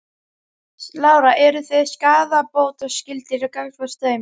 Lára: Eru þið skaðabótaskyldir gagnvart þeim?